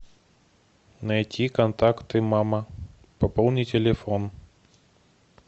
найти контакты мама пополнить телефон